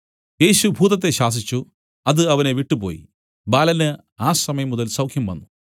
യേശു ഭൂതത്തെ ശാസിച്ചു അത് അവനെ വിട്ടുപോയി ബാലന് ആ സമയം മുതൽ സൌഖ്യംവന്നു